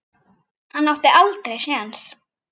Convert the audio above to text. Hann átti aldrei séns.